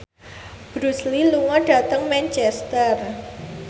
Bruce Lee lunga dhateng Manchester